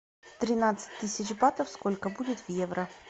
тринадцать тысяч батов сколько будет в евро